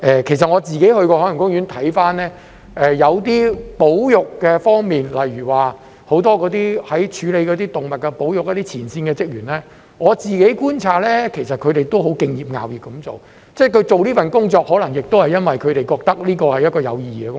其實我自己去過海洋公園，看到有些保育方面，例如很多處理動物保育的前線職員，我觀察到他們其實都很敬業樂業，他們做這份工作，可能亦因為他們覺得這是一份有意義的工作。